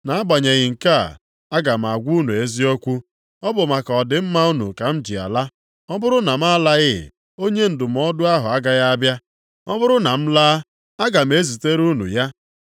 Nʼagbanyeghị nke a, aga m agwa unu eziokwu, ọ bụ maka ọdịmma unu ka m ji ala. Ọ bụrụ na m alaghị, Onye Ndụmọdụ ahụ agaghị abịa. Ọ bụrụ na m laa, aga m ezitere unu ya.